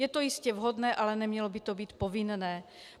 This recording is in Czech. Je to jistě vhodné, ale nemělo by to být povinné.